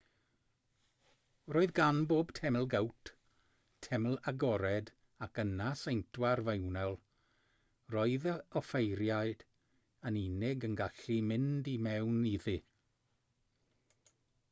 roedd gan bob teml gowt teml agored ac yna seintwar fewnol roedd yr offeiriaid yn unig yn gallu mynd i mewn iddi